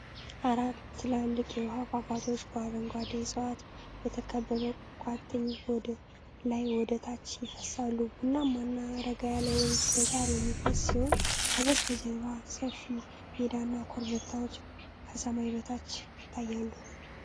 አራት ትልልቅ የውሃ ፏፏቴዎች በአረንጓዴ ዕፅዋት በተከበበ ቋጥኝ ላይ ወደ ታች ይፈስሳሉ። ቡናማና ረጋ ያለ ወንዝ በሥር የሚፈስ ሲሆን ከበስተጀርባ ሰፊ ሜዳና ኮረብታዎች ከሰማይ በታች ይታያሉ።